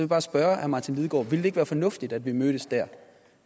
bare spørge herre martin lidegaard ville det ikke være fornuftigt at vi mødtes der